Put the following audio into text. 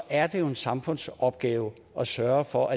er en samfundsopgave at sørge for